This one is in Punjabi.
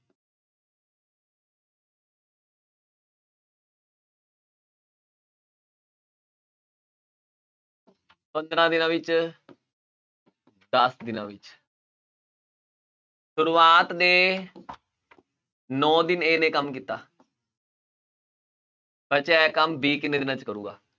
ਪੰਦਰਾਂ ਦਿਨਾਂ ਵਿੱਚ ਦਸ ਦਿਨਾਂ ਵਿੱਚ ਸ਼ੁਰੂਆਤ ਦੇ ਨੋਂ ਦਿਨ a ਨੇ ਕੰਮ ਕੀਤਾ ਬਚਿਆ ਹੋਇਆ ਕੰਮ b ਕਿੰਨੇ ਦਿਨਾਂ 'ਚ ਕਰੇਗਾ?